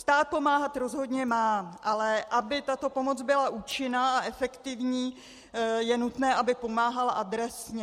Stát pomáhat rozhodně má, ale aby tato pomoc byla účinná a efektivní, je nutné, aby pomáhala adresně.